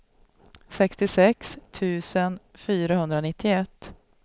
sextiosex tusen fyrahundranittioett